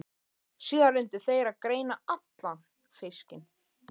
Síðan reyndu þeir að greina allan fiskinn.